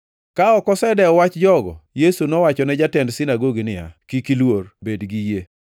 Ka ok osedewo wach jogo, Yesu nowachone jatend sinagogi niya, “Kik iluor, bed gi yie.”